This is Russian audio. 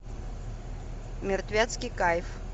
мертвецкий кайф